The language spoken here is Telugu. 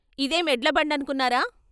"ఇదేం ఎడ్లబండను కున్నారా.....